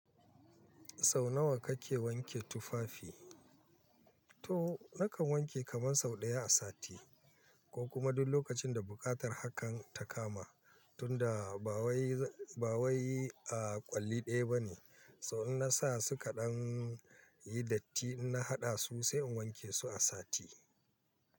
Sau nawa kake wanke tufafi? To nakan wanke kaman sau ɗaya a sati ko kuma duk lokacin da buƙatar hakan ta kama tunda ba wai ba wai a kwalli ɗaya bane. So in na sa su kaɗan, yi datti in na haɗa su sai in wanke su a sati.